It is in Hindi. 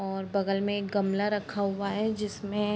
और बगल में एक गमला रखा हुआ है जिसमे --